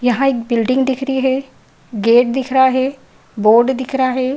यहॉं एक बिल्डिंग दिख रही है। गेट दिख रहा है। बोर्ड दिख रहा है।